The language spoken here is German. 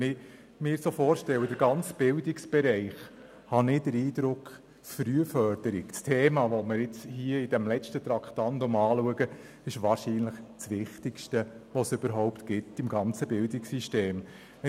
Wenn ich mir den ganzen Bildungsbereich vorstelle, habe ich den Eindruck, dass das Thema Frühförderung als letztes Traktandum, aber wahrscheinlich das Wichtigste im ganzen Bildungssystem ist.